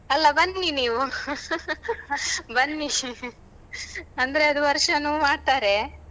ಅಲ್ಲ ಬನ್ನಿ ನೀವು ಬನ್ನಿ ಅಂದ್ರೆ ಅದು ವರ್ಷಾನು ಮಾಡ್ತಾರೆ.